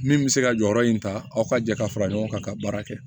Min bɛ se ka jɔyɔrɔ in ta aw ka jɛ ka fara ɲɔgɔn kan ka baara kɛ